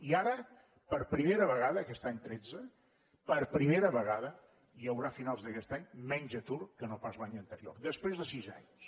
i ara per primera vegada aquest any tretze per primera vegada hi haurà a finals d’aquest any menys atur que no pas l’any anterior després de sis anys